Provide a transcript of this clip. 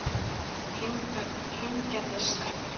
Hraungerðishreppi